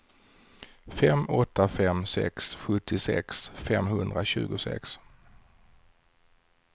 fem åtta fem sex sjuttiosex femhundratjugosex